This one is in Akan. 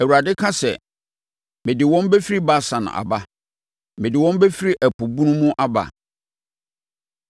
Awurade ka sɛ, “Mede wɔn bɛfiri Basan aba; mede wɔn bɛfiri ɛpo bunu mu aba,